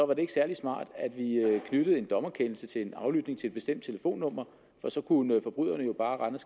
var det ikke særlig smart at vi knyttede en dommerkendelse til en aflytning af et bestemt telefonnummer for så kunne forbryderne jo bare rende og